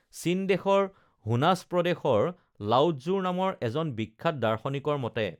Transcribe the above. চীন দেশৰ হোনাস প্ৰদেশৰ লাওৎজুৰ নামৰ এজন বিখ্যাত দাৰ্শনিকৰ মতে